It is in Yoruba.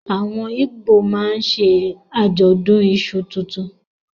Awọn Igbo máà ṣe ajọdun iṣu tuntun